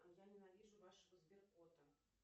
я ненавижу вашего сберкота